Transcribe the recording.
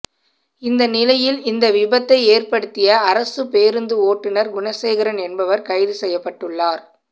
இந்த நிலையில் இந்த விபத்தை ஏற்படுத்திய அரசு பேருந்து ஓட்டுனர் குணசேகரன் என்பவர் கைது செய்யப்பட்டுள்ளார்